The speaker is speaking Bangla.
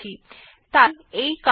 তাই এই কমান্ড টি টেস্ট1 থেকে পড়ে